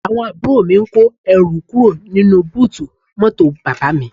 Àwọn àbúrò mi ń kó ẹrù kúrò nínú búùtù mọ́tò bàbá mi